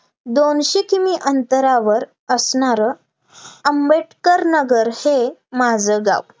दोनशे किमी अंतरावर असणारं, आंबेडकर नगर हे माझं गाव,